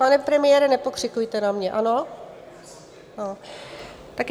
Pane premiére, nepokřikujte na mě, ano?